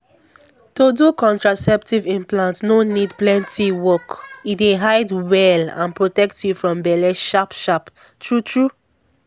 to do contraceptive implant no need plenty work — e dey hide well and protect you from belle sharp-sharp true-true.